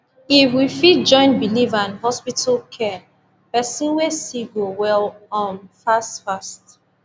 if we fit join believe and hospital care person way sick go well um fast fast